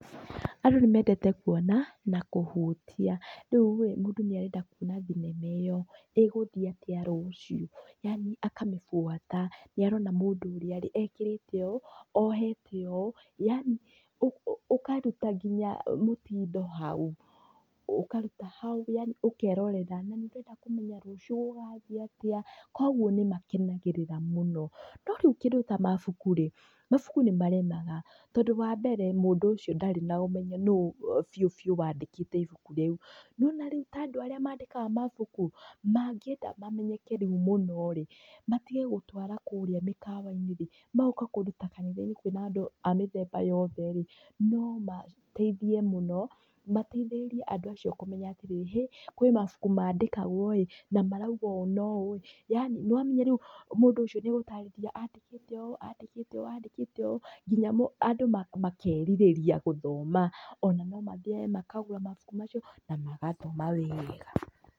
Andũ nĩmendete kuona, na kũhutia, rĩurĩ, mũndũ nĩarenda kuona thinema ĩyo, ĩgũhiĩ atĩa rũciũ, yani akamĩbuata, nĩarona mũndũ ũrĩa, ekĩrĩte ũũ, ohete ũũ, yani ũũ, ũkaruta nginya mĩtindo hau, ũkaruta hau, yani ũkerorera, nanĩndĩrenda kũmenya rũciũ gũgathiĩ atĩa, koguo nĩmakenagĩrĩra mũno, no rĩu kĩndũ ta mabuku rĩ, mabuku nĩmaremaga, tondũ wambere, mũndũ ũcio ndarĩ na ũmenyo nũũ biũ biũ wandĩkĩte ibuku rĩu, niwona rĩu ta andũ arĩa mandĩkaga mabuku, mangĩenda mamenyeke rĩu mũno rĩ, matige gũtwara kũrĩa mĩkawa-inĩ rĩ, magoka kũruta kanitha-inĩ kwĩna andũ a mĩthemba yothe rĩ, noma, teithie mũno, mateithĩrĩrie andũ acio kũmenya atĩrĩrĩ, hĩ, kwĩ mabuku mandĩkagwo ĩ, namarauga ũũ no ũũ ĩ, yani, nĩwamenya rĩu, mũndũ ũcio nĩegũtarĩria andĩkĩte ũũ, andĩkĩte ũũ, andĩkĩte ũũ, nginya andũ makerirĩria gũthoma, ona nomathiage mkagũra mabuku macio, na magathoma wega.